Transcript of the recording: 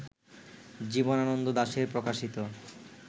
জীবনানন্দ দাশের প্রকাশিত